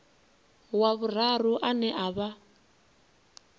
wa vhuraru ane a vha